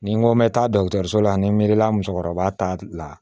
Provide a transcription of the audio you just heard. Ni n ko n bɛ taa so la ni n miiri la musokɔrɔba ta la